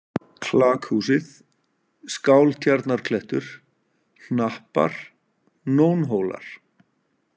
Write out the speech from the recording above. Klakhúsið, Skáltjarnarklettur, Hnappar, Nónhólar